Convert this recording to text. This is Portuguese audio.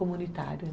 Comunitário